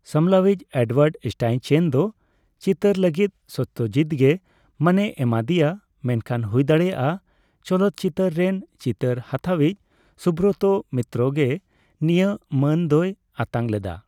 ᱥᱟᱢᱞᱟᱣᱤᱪ Edward Steichen ᱫᱚ ᱪᱤᱛᱟᱹᱨ ᱞᱟᱹᱜᱤᱛ ᱥᱚᱛᱛᱚᱡᱤᱛᱜᱮᱢᱟᱹᱱᱮ ᱮᱢᱟᱫᱤᱭᱟ, ᱢᱮᱱᱠᱷᱟᱱ ᱦᱩᱭᱫᱟᱲᱮᱭᱟᱜᱼᱟ ᱪᱚᱞᱚᱛ ᱪᱤᱛᱟᱹᱨ ᱨᱮᱱ ᱪᱤᱛᱟᱹᱨ ᱦᱟᱛᱟᱣᱤᱪ ᱥᱩᱵᱨᱚᱛᱚ ᱢᱤᱛᱨᱚ ᱜᱮ ᱱᱤᱭᱟᱹ ᱢᱟᱹᱱ ᱫᱚᱭ ᱟᱛᱟᱝᱞᱮᱫᱟ ᱾